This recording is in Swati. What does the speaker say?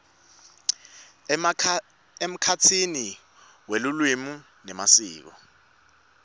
emkhatsini welulwimi nemasiko